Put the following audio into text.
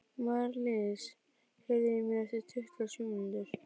Marlís, heyrðu í mér eftir tuttugu og sjö mínútur.